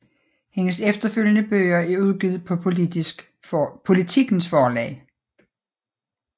Hendes efterfølgende bøger er udgivet på Politikens Forlag